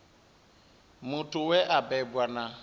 muthu we a bebwa na